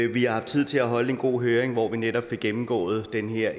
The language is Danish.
vi har haft tid til at holde en god høring hvor vi netop fik gennemgået den her